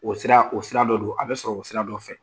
O sira o sira dɔ don a bɛ sɔrɔ o sira dɔ fɛ